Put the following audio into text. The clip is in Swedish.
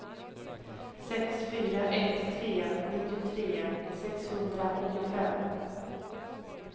sex fyra ett tre nittiotre sexhundraåttiofem